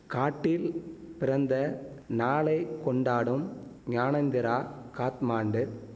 காட்டில் பிறந்த நாளை கொண்டாடும் ஞானேந்திரா காத்மாண்டு